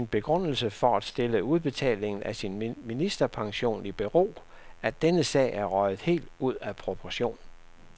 Hun gav som sin begrundelse for at stille udbetalingen af sin ministerpension i bero, at denne sag er røget helt ud af proportion.